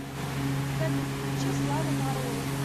салют включи слава марлоу